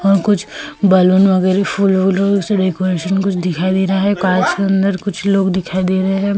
और कुछ बालून वगैरह फूल से डेकोरेशन दिखाई दे रहा है काच के अंदर कुछ लोग दिखाई दे रहे हैं।